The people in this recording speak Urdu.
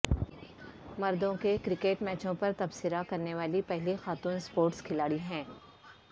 مردوں کے کرکٹ میچوں پر تبصرہ کرنے والی پہلی خاتون اسپورٹس کھلاڑی ہیں